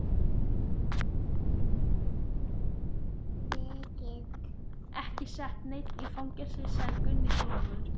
Við getum ekki sett neinn í fangelsi, sagði Gunni þolinmóður.